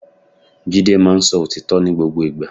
Jídé máa ń sọ òtítọ́ ní gbogbo ìgbà